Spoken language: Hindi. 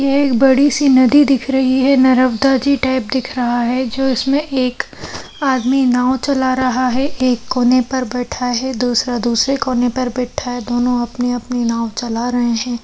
ये एक बड़ी सी नदी दिख रही है नर्मदा जी टाइप दिख रहा है जो इसमें एक आदमी नाव चला रहा है एक एक कोने पर बैठा है दूसरा दूसरे कोने पर बैठा है दोनों अपनी-अपनी नाव चला रहें हैं।